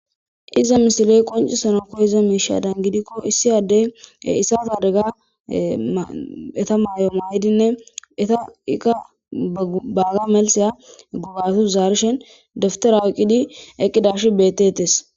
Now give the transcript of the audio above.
iza misiley qoncisanakko iza miisha dan gidikko issi addey issata adega eta maay'o maa'dinne eta ika baaga malsiya gubatos zaarishen dawutera oyiqidi eqqidashin betetes